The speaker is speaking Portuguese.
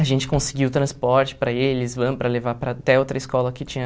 A gente conseguiu transporte para eles, van para levar para até outra escola que tinha...